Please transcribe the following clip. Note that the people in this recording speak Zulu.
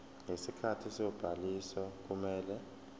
ngesikhathi sobhaliso kumele